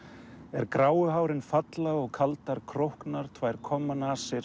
er gráu hárin falla og kaldar tvær